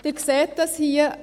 Sie sehen dies hier: